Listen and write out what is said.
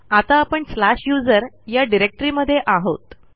आता आपण slash USR या डिरेक्टरीमध्ये आहोत